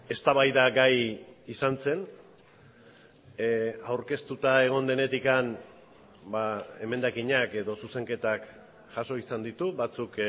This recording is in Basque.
eztabaida gai izan zen aurkeztuta egon denetik emendakinak edo zuzenketak jaso izan ditu batzuk